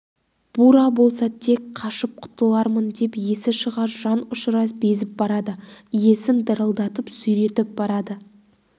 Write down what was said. бура болса тек қашып құтылармын деп есі шыға жанұшыра безіп барады иесін дырылдатып сүйретіп барады